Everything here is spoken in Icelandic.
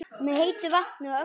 Með heitu vatni og öllu?